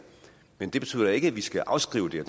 men det betyder ikke at vi skal afskrive det